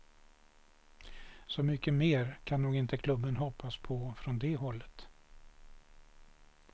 Så mycket mer kan nog inte klubben hoppas på från det hållet.